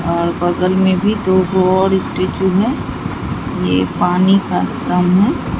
और बगल में भी दो गो और स्टैचू हैं यह पानी का स्तंभ है।